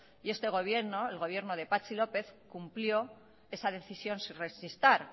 y este gobierno el gobierno de patxi lópez cumplió esa decisión sin rechistar